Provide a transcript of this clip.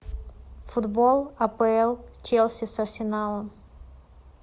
футбол апл челси с арсеналом